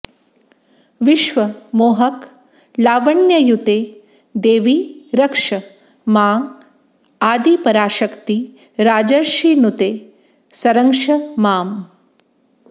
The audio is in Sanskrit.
विश्व मोहक लावण्ययुते देवि रक्ष मां आदिपराशक्ति राजर्षिनुते संरक्ष माम्